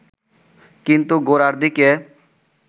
কিন্তু গোড়ার দিকে